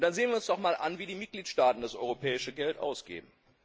Sehen wir uns doch einmal an, wie die Mitgliedstaaten das europäische Geld ausgeben.